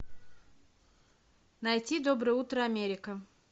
найти доброе утро америка